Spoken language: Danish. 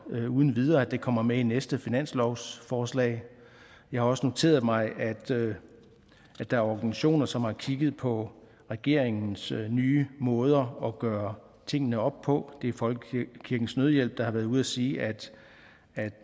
uden videre kommer med i næste finanslovsforslag jeg har også noteret mig at der er organisationer som har kigget på regeringens nye måder at gøre tingene op på det er folkekirkens nødhjælp der har været ude at sige at